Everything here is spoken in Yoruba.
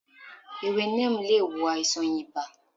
Ewe Neem lé wò àìsàn ìbá